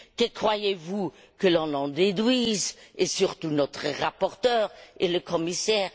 Que croyez vous que l'on en déduise et surtout notre rapporteur et le commissaire?